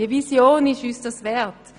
Diese Vision ist es uns wert.